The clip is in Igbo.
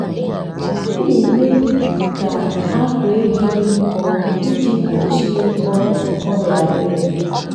m na-eme ka akwa ehi dị nkọ iji gbochie ọrịa ọrịa ara ehi.